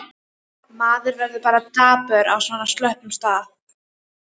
Maður verður bara dapur á svona slöppum stað.